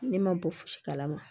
Ne ma bɔ fosi kalama